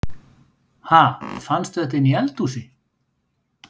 Ha! Fannstu þetta inni í eldhúsi?